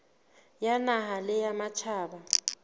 ya naha le ya matjhaba